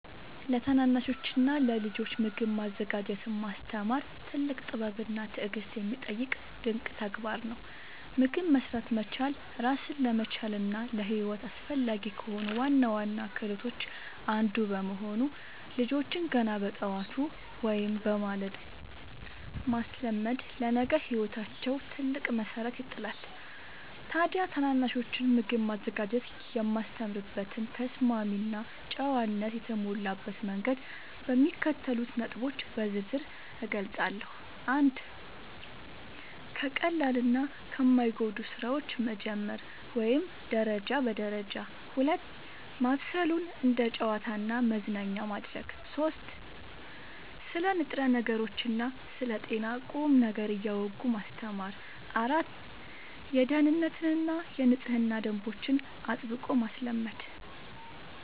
ለታናናሾችና ለልጆች ምግብ ማዘጋጀትን ማስተማር ትልቅ ጥበብና ትዕግሥት የሚጠይቅ ድንቅ ተግባር ነው። ምግብ መሥራት መቻል ራስን ለመቻልና ለሕይወት አስፈላጊ ከሆኑ ዋና ዋና ክህሎቶች አንዱ በመሆኑ፣ ልጆችን ገና በጠዋቱ (በማለዳው) ማስለመድ ለነገ ሕይወታቸው ትልቅ መሠረት ይጥላል። ታዲያ ታናናሾችን ምግብ ማዘጋጀት የማስተምርበትን ተስማሚና ጨዋነት የተሞላበት መንገድ በሚከተሉት ነጥቦች በዝርዝር እገልጻለሁ፦ 1. ከቀላልና ከማይጎዱ ሥራዎች መጀመር (ደረጃ በደረጃ) 2. ማብሰሉን እንደ ጨዋታና መዝናኛ ማድረግ 3. ስለ ንጥረ ነገሮችና ስለ ጤና ቁም ነገር እያወጉ ማስተማር 4. የደኅንነትና የንጽህና ደንቦችን አጥብቆ ማስለመድ